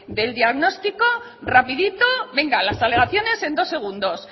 del diagnóstico rapidito venga las alegaciones en dos segundos